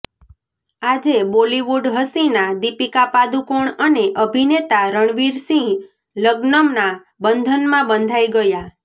આજે બોલિવુડ હસીના દીપિકા પાદુકોણ અને અભિનેતા રણવીર સિંહ લગ્નના બંધનમાં બંધાઈ ગયા